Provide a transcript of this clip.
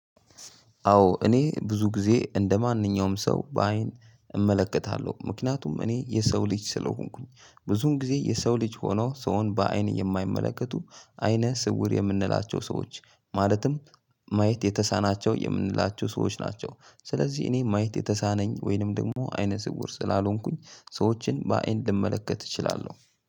አዎ እኔ ብዙ ጊዜ እንደማንኛውም ሰው በአይን እመለከታለሁ ምክንያቱም እኔ የሰው ልጅ ስለሆንኩኝ ብዙን ጊዜ የሰው ልጅ ሆኖ ሰውን በአይን የማይመለከቱ አይነ ስውር የምንላቸው ሰዎች ማለትም ማየት የተሳናቸው የእምንላቸው ሰዎች ናቸው። ስለዚህ እኔ ማየት የተሳነኝ ወይንም ደግሞ አይነ ስውር ስላልሆንኩኝ ሰዎችን በአይን ልመለከት እችላለሁ።